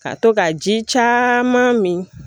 Ka to ka ji caman min